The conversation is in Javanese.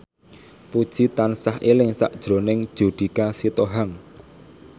Puji tansah eling sakjroning Judika Sitohang